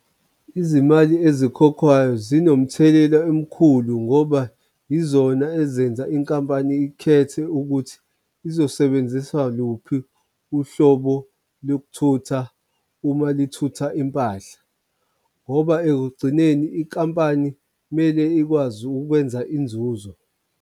Izimali ezikhokhwayo zinomthelela omkhulu ngoba yizona ezenza inkampani ikhethe ukuthi izosebenzisa luphi uhlobo lokuthutha uma lithuthuka impahla, ngoba ekugcineni inkampani kumele ikwazi ukwenza inzuzo.